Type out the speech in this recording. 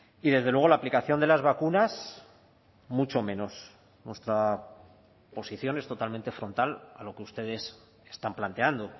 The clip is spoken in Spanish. y desde luego la aplicación de las vacunas mucho menos nuestra posición es totalmente frontal a lo que ustedes están planteando